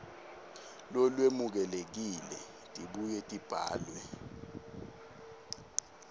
lolwemukelekile tibuye tibhalwe